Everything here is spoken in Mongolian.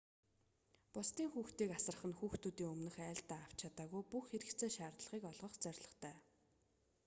бусдын хүүхдийг асрах нь хүүхдүүдийн өмнөх айлдаа авч чадаагүй бүх хэрэгцээ шаардлагыг олгох зорилготой